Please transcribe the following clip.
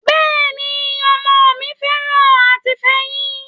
Bẹ́ẹ̀ ni, ọmọ mi fẹ́ràn àti fẹyín,